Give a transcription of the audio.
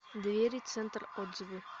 двери центр отзывы